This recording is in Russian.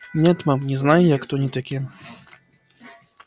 нет мам не знаю я кто они такие